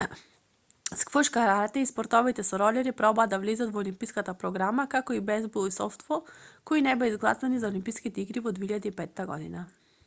сквош карате и спортовите со ролери пробаа да влезат во олимписката програма како и бејзбол и софтбол кои не беа изгласани за олимписките игри во 2005 год